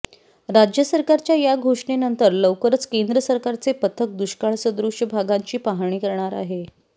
राज्य सरकारच्या या घोषणेनंतर लवकरच केंद्र सरकारचे पथक दुष्काळसदृश भागांची पाहणी करणार आहे